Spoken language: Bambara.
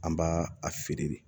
An b'a a feere de